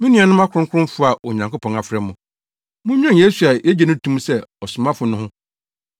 Me nuanom akronkronfo a Onyankopɔn afrɛ mo, munnwen Yesu a yegye no to mu sɛ Ɔsomafo no ho.